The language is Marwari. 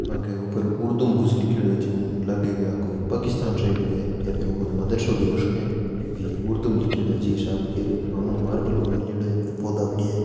पंखे के ऊपर उर्दू मे कुछ लिख्योड़ो है ज्यो लागे के आ कोई पाकिस्तान साइड को है या फिर कोई मदरसा भी हु सके क्योकि उर्दू में लिख्योड़ो है जी हिसाब हु कह रहियो हु आंगणो मार्बल को गाल्योड़ो है पौधा बढ़िया है।